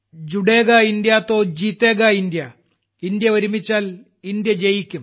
ജൂഡേഗാ India തൊ ജീതേഗാ India India ഒരുമിച്ചാൽ ഇന്ത്യ ജയിക്കും